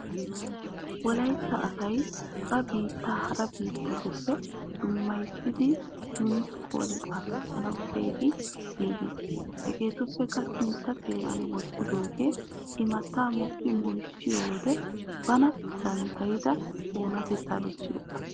Wolaytta asay ba biitta hara bittatuppe dummayisiddi yuuneessikon xaafissanawu keehi giiggis. Hegetuppeka sintta xeeran wottiyooge immata mokki moyiyyissiyo woga bana danddayidda onatteta bessiyaaga.